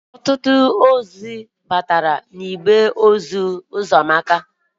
Ọtụtụ ozi bataara n'igbe ozi Ụkamaka.